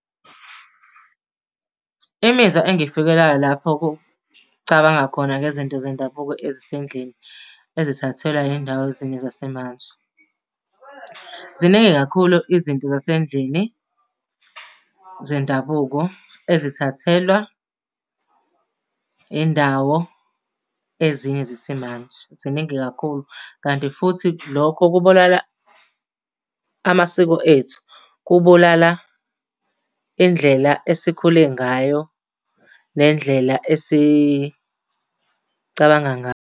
Imizwa engifikelayo lapho kucabanga khona ngezinto zendabuko ezisendlini ezithathelwa iy'ndawo ezinye zesimanje. Ziningi kakhulu izinto zasendlini zendabuko ezithathelwa indawo ezinye zesimanje, ziningi kakhulu. Kanti futhi lokho kubulala amasiko ethu, kubulala indlela esikhule ngayo nendlela esicabanga ngayo.